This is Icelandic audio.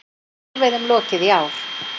Hvalveiðunum lokið í ár